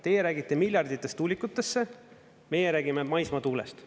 Teie räägite miljarditest tuulikutesse, meie räägime maismaatuulest.